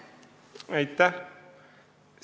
Aitäh!